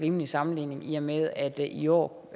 rimelig sammenligning i og med at det i år